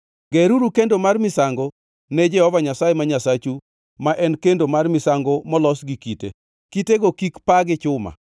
Geruru kendo mar misango ne Jehova Nyasaye ma Nyasachu, ma en kendo mar misango molos gi kite. Kitego kik paa gi chuma.